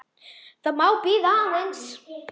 Það má bíða aðeins.